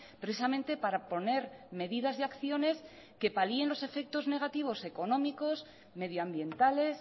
precisamente para poner medidas y acciones que palien los efectos negativos económicos medioambientales